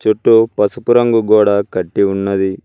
చుట్టూ పసుపు రంగు గోడా కట్టి ఉన్నది.